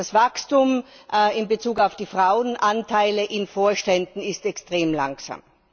Das Wachstum in Bezug auf die Frauenanteile in Vorständen ist extrem langsam.